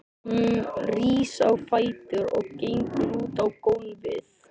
Hún rís á fætur og gengur út á gólfið.